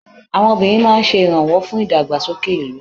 àwọn obìnrin ma n se iranwo fún ìdàgbàsókè ìlú